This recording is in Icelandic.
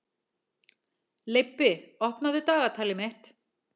Leibbi, opnaðu dagatalið mitt.